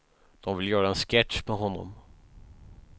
De vill göra en sketch med honom.